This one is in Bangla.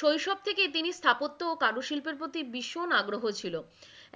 শৈশব থেকেই তিনি স্থাপত্য ও কারুশিল্পের প্রতি ভীষণ আগ্রহ ছিল,